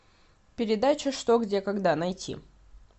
передача что где когда найти